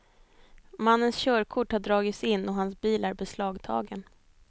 Mannens körkort har dragits in och hans bil är beslagtagen.